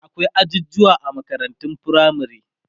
akwai ajujuwa a makarantun firamare